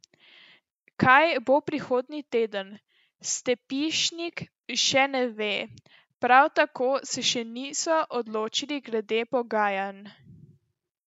Kaj bo prihodnji teden, Stepišnik še ne ve, prav tako se še niso odločili glede pogajanj.